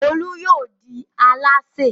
Olú yóò di alásè.